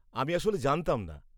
আমি আসলে জানতাম না।